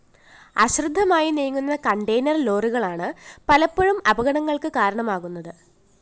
അശ്രദ്ധമായി നീങ്ങുന്ന കണ്ടെയ്നർ ലോറികളാണ് പലപ്പോഴും അപകടങ്ങള്‍ക്ക് കാരണമാകുന്നത്